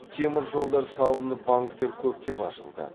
темір жолдар салынып банктер көптеп ашылды